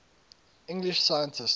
english scientists